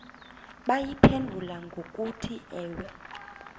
bayiphendule ngokuthi ewe